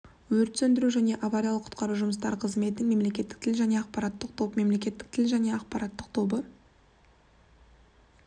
өрт сөндіру және авариялық-құтқару жұмыстары қызметінің мемлекеттік тіл және ақпарат тобы мемлекеттік тіл және ақпарат тобы